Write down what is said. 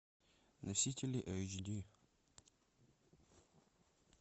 носители эйч ди